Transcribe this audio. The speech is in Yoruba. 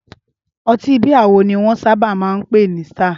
Ọtí bíà wo ni wọ́n sábà máa ń pè ní Star?